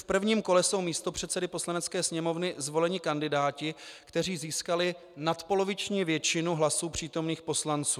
V prvním kole jsou místopředsedy Poslanecké sněmovny zvoleni kandidáti, kteří získali nadpoloviční většinu hlasů přítomných poslanců.